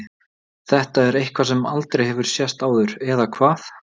Þetta er eitthvað sem aldrei hefur sést áður. eða hvað?